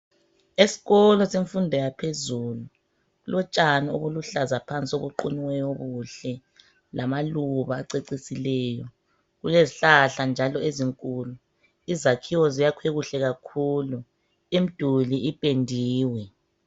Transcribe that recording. Esikolo semfundo yaphezulu kulotshani obuluhlaza phansi obuqunyiweyo obuhle ,lamaluba acecisileyo ,kulezihlahla njalo ezinkulu ,izakhiwo zakhiwe kuhle kakhulu imiduli ipendiwe.